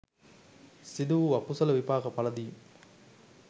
සිදු වූ අකුසල විපාක පලදීම්